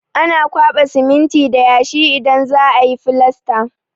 Ana kwaɓa siminti da yashi idan za a yi filasta.